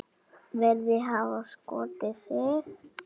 Virðist hafa skotið sig.